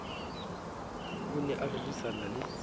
o ne a rerisana le